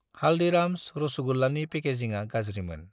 हालदिराम्स रसगुल्लानि पेकेजिंआ गाज्रिमोन।